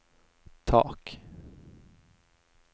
tak